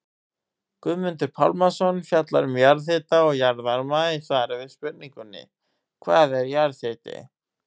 Guðmundur Pálmason fjallar um jarðhita og jarðvarma í svari við spurningunni Hvað er jarðhiti?